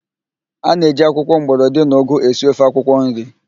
A na-eji akwụkwọ mgbọrọdị na ụgụ esi ofe akwụkwọnri